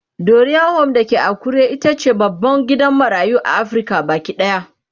Dorian Home da ke Akure itace babban gidan marayu a Afrika Baki ɗaya